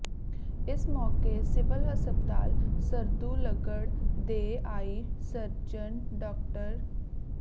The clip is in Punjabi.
ਇਸ ਮੌਕੇ ਸਿਵਲ ਹਸਪਤਾਲ ਸਰਦੂਲਗੜ੍ਹ ਦੇ ਆਈ ਸਰਜਨ ਡਾ